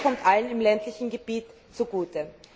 Das kommt allen im ländlichen Gebiet zugute.